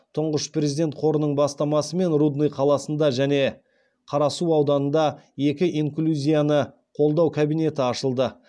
тұңғыш президент қорының бастамасымен рудный қаласында және қарасу ауданында екі инклюзияны қолдау кабинеті ашылды